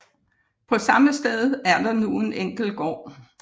På samme sted er der nu en enkel gård